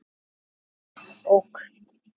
Davíð OK.